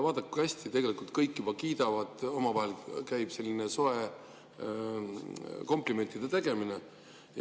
Vaadake, kui hästi on, kõik juba kiidavad, käib omavahel selline soe komplimentide tegemine.